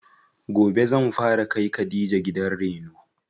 Gobe zan fara kai khadija gidan reno.